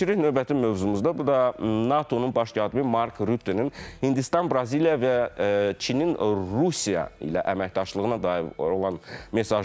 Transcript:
Keçirik növbəti mövzumuza, bu da NATO-nun baş katibi Mark Rüttənin Hindistan, Braziliya və Çinin Rusiya ilə əməkdaşlığına dair olan mesajıdır.